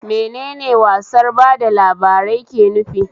Menene wasar ba da labarai ke nufi?